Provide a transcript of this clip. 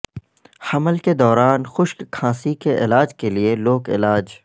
حمل کے دوران خشک کھانسی کے علاج کے لیے لوک علاج